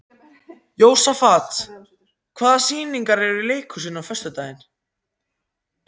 Jósafat, hvaða sýningar eru í leikhúsinu á föstudaginn?